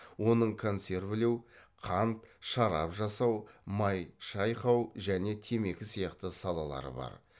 оның консервілеу қант шарап жасау май шайқау және темекі сияқты салалары бар